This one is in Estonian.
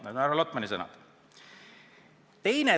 Need on härra Lotmani sõnad.